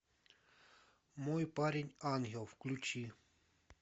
мой парень ангел включи